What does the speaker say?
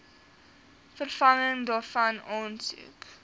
vervanging daarvan aansoek